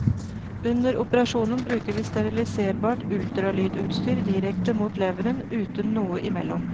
Under operasjonen bruker vi steriliserbart ultralydutstyr direkte mot leveren, uten noe imellom.